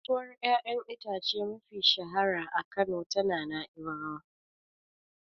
Kasuwar ƴaƴan itace mafi shahara a Kano tana Nai'bawa.